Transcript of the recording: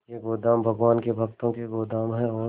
ये गोदाम भगवान के भक्तों के गोदाम है और